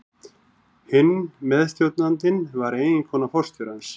Hinn meðstjórnandinn var eiginkona forstjórans.